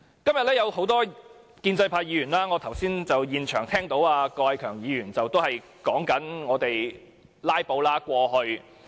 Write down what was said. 今天有多位建制派議員，例如我剛才現場聽到郭偉强議員發言時提及過去的"拉布"行動。